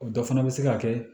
O dɔ fana bɛ se ka kɛ